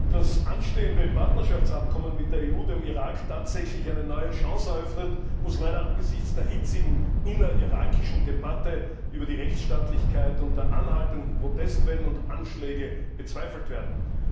Ob das anstehende Partnerschaftsabkommen mit der EU dem Irak tatsächlich eine neue Chance eröffnet, muss leider angesichts der hitzigen innerirakischen Debatte über die Rechtsstaatlichkeit und der anhaltenden Protestwellen und Anschläge bezweifelt werden.